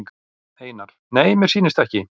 Einar: Nei mér sýnist ekki.